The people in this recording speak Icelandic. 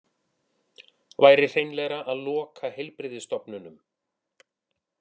Væri hreinlegra að loka heilbrigðisstofnunum